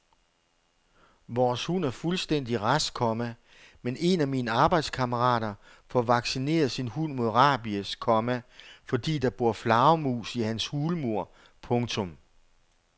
Vores hund er fuldstændig rask, komma men en af mine arbejdskammerater får vaccineret sin hund mod rabies, komma fordi der bor flagermus i hans hulmur. punktum